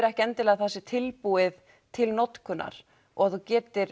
ekki endilega að það sé tilbúið til notkunar og að þú getir